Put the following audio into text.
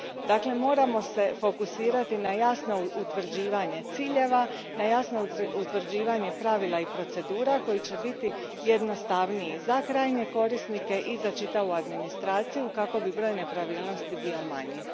Dakle, moramo se fokusirati na jasno utvrđivanje ciljeva, na jasno utvrđivanje pravila i procedura koji će biti jednostavniji za krajnje korisnike i za čitavu administraciju kako bi broj nepravilnosti bio manji.